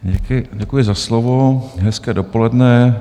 Děkuji za slovo, hezké dopoledne.